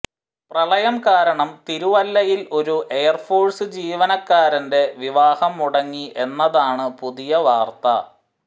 പ്രളയം കാരണം തിരുവല്ലയിൽ ഒരു എയർഫോഴ്സ് ജീവനക്കാരന്റെ വിവാഹം മുടങ്ങി എന്നതാണ് പുതിയ വാര്ത്ത